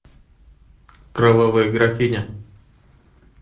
кровавая графиня